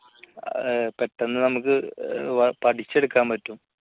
പെട്ടെന്ന് നമുക്ക് പഠിച്ചെടുക്കാൻ പറ്റും